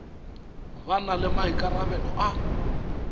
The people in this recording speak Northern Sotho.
ba na le maikarabelo a